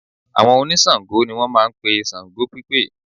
Àwọn oníṣàngó ni wọ́n máa ń pe ṣàngó pípè